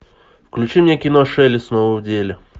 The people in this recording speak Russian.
включи мне кино шелли снова в деле